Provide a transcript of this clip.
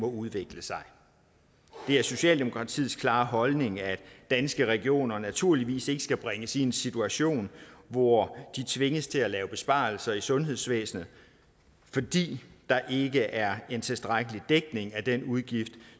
udvikler sig det er socialdemokratiets klare holdning at danske regioner naturligvis ikke skal bringes i en situation hvor de tvinges til at lave besparelser i sundhedsvæsenet fordi der ikke er en tilstrækkelig dækning af den udgift